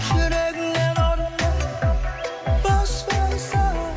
жүрегіңнен орын бер бос болса